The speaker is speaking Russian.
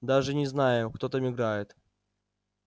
даже и не знаю кто там играет